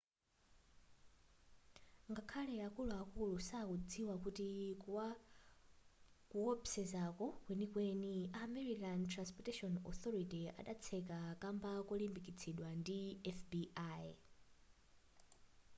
ngakhale akuluakulu sakudzikwa kuti kuwopsezako mkwenikweni a maryland transportation authority adatseka kamba kolimbikitsidwa ndi fbi